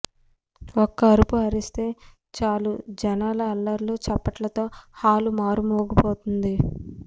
ఒక్క అరుపు అరిస్తే చాలు జనాల అల్లర్లు చప్పట్లతో హాలు మారు మోగిపోతుంది